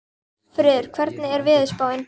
Hallfreður, hvernig er veðurspáin?